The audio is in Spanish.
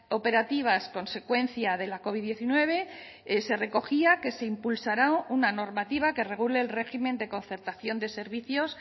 operativas consecuencia de la covid diecinueve se recogía que se impulsará una normativa que regule el régimen de concertación de servicios